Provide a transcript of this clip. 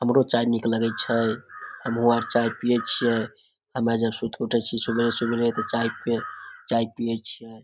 हमरो चाय निक लगे छै हम्हू आर चाय पीए छीये हम्मे जब उठे छीये सूत के सवेरे-सवेरे ते चाय पे चाय पिए छीये।